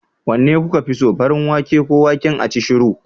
Wanne kuka fi so? farin wake ko waken acishiru?